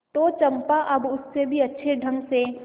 तो चंपा अब उससे भी अच्छे ढंग से